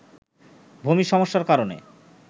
ভূমি সমস্যার কারণে